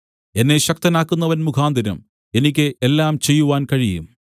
എന്നെ ശക്തനാക്കുന്നവൻ മുഖാന്തരം എനിക്ക് എല്ലാം ചെയ്യുവാൻ കഴിയും